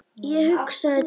Ég hugsaði til hennar.